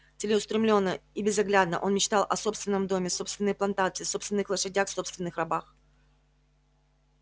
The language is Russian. целеустремлённо и безоглядно он мечтал о собственном доме собственной плантации собственных лошадях собственных рабах